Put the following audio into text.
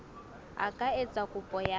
a ka etsa kopo ya